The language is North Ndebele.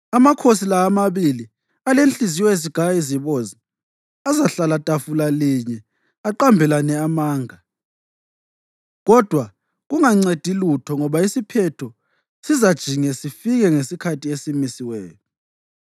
Amakhosi la amabili alenhliziyo ezigaya izibozi azahlala tafula linye aqambelane amanga, kodwa kungancedi lutho ngoba isiphetho sizajinge sifike ngesikhathi esimisiweyo.